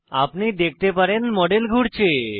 আপনি দেখতে পারেন মডেল ঘুরছে